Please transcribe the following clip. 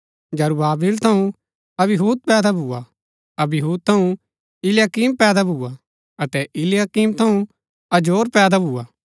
जरूब्‍बाबिल थऊँ अबीहूद पैदा भुआ अबीहूद थऊँ इल्याकीम पैदा भुआ अतै इल्याकीम थऊँ अजोर पैदा भुआ